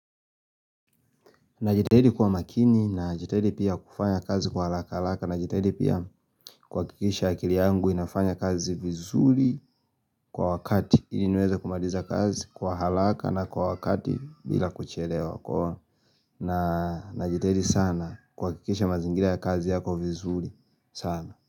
Najitahidi kwa makini na jitahidi pia kufanya kazi kwa halaka halaka na jitahidi pia kwa kikisha akili yangu inafanya kazi vizuri kwa wakati ili niweze kumaliza kazi kwa halaka na kwa wakati bila kuchelewa kwa na jitahidi sana kuhkikisha mazingira ya kazi yako vizuri sana.